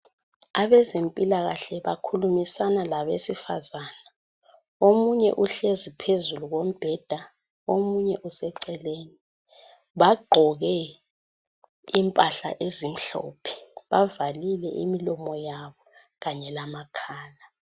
Abezempilakahle bakhulumisana labesifazana. Omunye uhlezi phezulu kombheda, omunye useceleni bagqoke impahla ezimhlophe bavalile imlomo yabo kanye lamakhala.